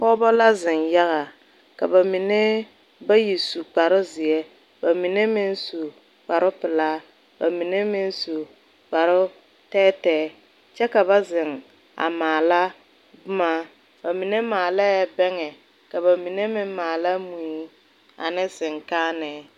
pɔgɔbɔ la zeŋ yaga. Ka ba mene bayi su kparo zie, ba mene meŋ su kparo pulaa, ba mene meŋ su kparo teɛteɛ. Kyɛ ka ba zeŋ a maala boma. Ba mene maalɛ bɛŋe, ka ba mene meŋ maala mui ane sikaaneɛ